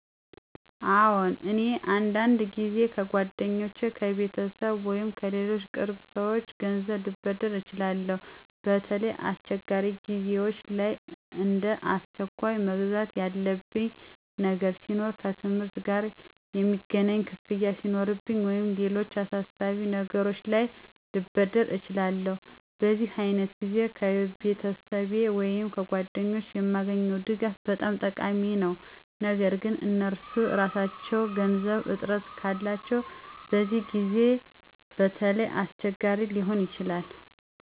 አዎን፣ እኔ በአንዳንድ ጊዜ ከጓደኞቼ፣ ከቤተሰቤ ወይም ከሌሎች ቅርብ ሰዎች ገንዘብ ልበድር እችላለሁ። በተለይ አስቸኳይ ጊዜዎች ላይ፣ እንደ አስቸኳይ መግዛት ያለብኝ ነገር ሲኖር፣ ከትምህርት ጋ የሚገናኝ ክፍያ ሱኖርብኝ ወይም ሌሎች አሳሳቢ ነገሮች ላይ ልበደር እችላለሁ። በዚህ ዓይነት ጊዜ ከቤተሰብ ወይም ከጓደኞቼ የማገኘው ድጋፍ በጣም ጠቃሚ ነው። ነገር ግን እነርሱ ራሳቸው የገንዘብ እጥረት ካላቸው በዚያ ጊዜ በተለይ አስቸጋሪ ሊሆን ይችላል።